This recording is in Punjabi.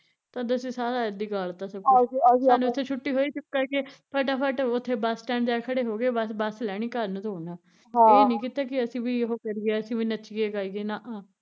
ਅਸੀਂ ਸਾਰਾ ਏਦੇ ਈ ਗਾਲਤਾਂ ਸਾਨੂ ਉੱਥੇ ਛੁੱਟੀ ਹੋਈ, ਚੁੱਪ ਕਰਕੇ, ਫਟਾ ਫੱਟ ਉੱਥੇ ਬਸ ਸਟੈੰਡ ਜਾਕੇ ਖੜੇ ਹੋਗੇ, ਬਸ ਬਸ ਲੈਣੀ ਘਰ ਨੂੰ ਦੌੜ ਨਾ ਹਮ ਏਹ ਨੀ ਕੀਤਾ ਕੀ ਅਸੀਂ ਵੀ ਓਹ ਕਰੀਏ ਅਸੀਂ ਵੀ ਨੱਚੀਏ ਗਾਈਏ ਨਾ